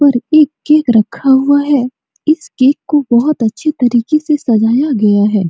और एक केक रखा हुआ है इस केक को बहोत अच्छे तरीके से सजाया गया है।